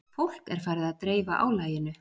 Fólk er farið að dreifa álaginu